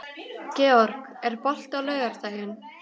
Georg, er bolti á laugardaginn?